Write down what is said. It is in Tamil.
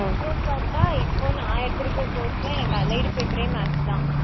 அப்புறம் பார்த்தா இப்போ நான் எடுத்திருக்கிற course ல எனக்கு allied paper ஏ maths தான்